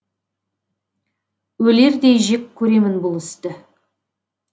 өлердей жек көремін бұл істі